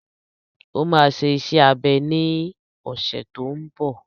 Ó máa ṣe iṣẹ́ abẹ ní ọ̀sẹ̀ tó n bọ̀